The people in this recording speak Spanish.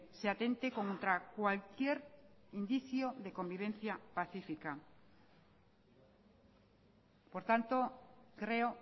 se atente contra cualquier indicio de convivencia pacífica por tanto creo